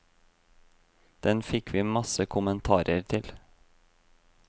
Den fikk vi masse kommentarer til.